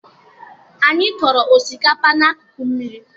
Anyị kọrọ osikakpa n'akụkụ mmiri